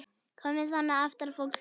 Koma þannig aftan að fólki!